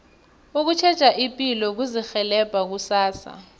ukutjheja ipilo kuzirhelebha kusasa